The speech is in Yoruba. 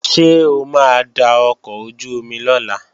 Ṣé o máa da ọkọ̀ ojú-omi lọ̀la?